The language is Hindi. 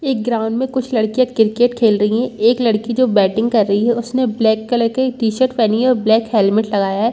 एक ग्राउंड में कुछ लडकियाँ क्रिकेट खेल रही हैं एक लड़की जो बैटिंग | कर रही हैं उसने ब्लैक कलर की टीशर्ट पहनी हैं और ब्लैक हेलमेट लगाया हैं।